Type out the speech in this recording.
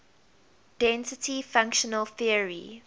density functional theory